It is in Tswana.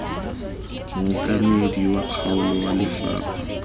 mookamedi wa kgaolo wa lefapha